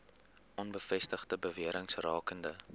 onbevestigde bewerings rakende